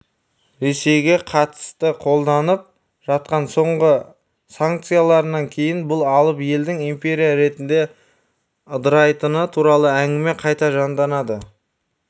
ресейге қатыстықолданып жатқан соңғы санкцияларынан кейін бұл алып елдің империя ретінде ыдырайтыны туралы әңгіме қайта жандана